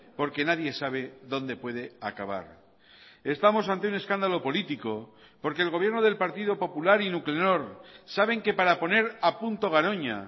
porque nadie sabe dónde puede acabar estamos ante un escándalo político porque el gobierno del partido popular y nuclenor saben que para poner a punto garoña